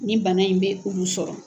Nin bana in bɛ ulu sɔrɔ.